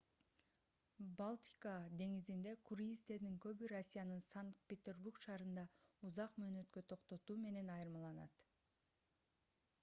балтика деңизинде круиздердин көбү россиянын санкт-петербург шаарында узак мөөнөткө токтотуу менен айырмаланат